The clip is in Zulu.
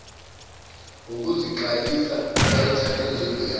ngokuziqayisa bayithathe njengeyabo